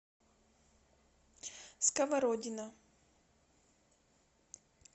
сковородино